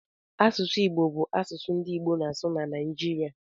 Asụsụ Igbo bụ asụsụ ndị Igbo na-asụ na Naịjirịa